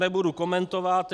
Nebudu komentovat.